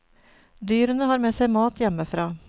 Dyrene har med seg mat hjemmefra.